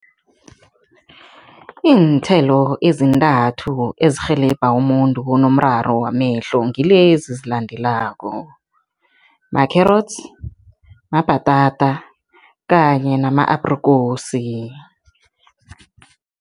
Iinthelo ezintathu ezirhelebha umuntu onomraro wamehlo ngilezi ezilandelako, ma-carrots, mabhatata kanye nama-aprikosi.